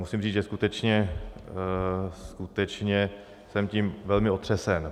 Musím říct, že skutečně jsem tím velmi otřesen.